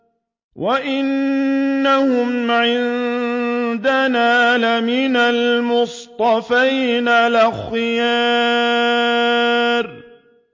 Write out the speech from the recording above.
وَإِنَّهُمْ عِندَنَا لَمِنَ الْمُصْطَفَيْنَ الْأَخْيَارِ